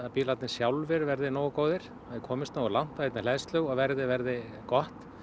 bílarnir sjálfir verði nógu góðir og komist nógu langt á einni hleðslu og verðið verði gott